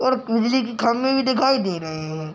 और बिजली की खंबी भी दिखाई दे रहे हैं।